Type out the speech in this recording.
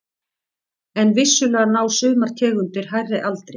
En vissulega ná sumar tegundir hærri aldri.